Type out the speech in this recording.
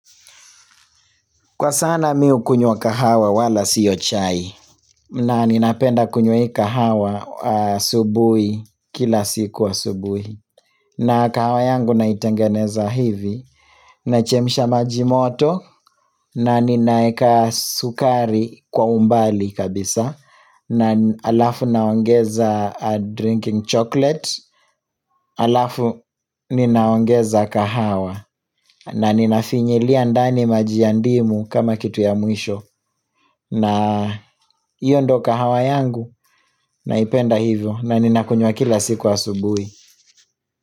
Kwa sana mi hukunywa kahawa wala sio chai na ninapenda kunywa hii kahawa asubuhi kila siku asubuhi na kahawa yangu naitengeneza hivi nachemsha maji moto na ninaeka sukari kwa umbali kabisa na alafu naongeza drinking chocolate alafu ninaongeza kahawa na ninafinyilia ndani maji ya ndimu kama kitu ya mwisho na hiyo ndoo kahawa yangu naipenda hivyo na ninakunywa kila siku asubuhi.